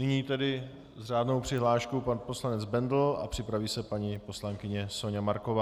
Nyní tedy s řádnou přihláškou pan poslanec Bendl a připraví se paní poslankyně Soňa Marková.